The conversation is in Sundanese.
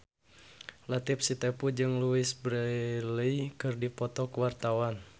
Latief Sitepu jeung Louise Brealey keur dipoto ku wartawan